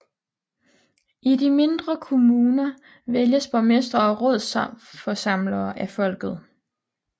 I de mindre kommuner vælges borgmestre og rådsforsamlere af folket